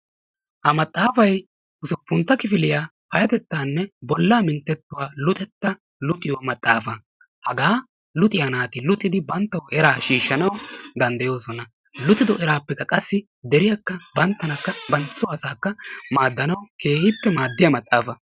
ha maxaafay usuppuntta kifiliyaa payattettanne bollaa minttetuwaa luxetta luuxiyoo maxaafa. hagaa luxiyaa naati luxxidi banttawu eraa shiishanaw dandayoosona. luuxido eraapekka qaassi deriyaakka banttankaa bantta soo asaakkakeehippe maaddiyaa maxaafa.